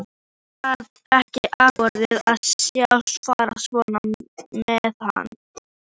Ég gat ekki afborið að sjá farið svona með hann.